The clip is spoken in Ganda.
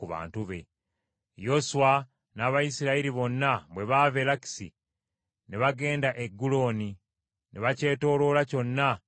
Yoswa n’Abayisirayiri bonna bwe baava e Lakisi ne bagenda e Eguloni, ne bakyetooloola kyonna ne bakikuba.